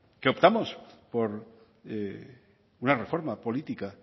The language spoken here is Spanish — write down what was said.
que optamos por una reforma política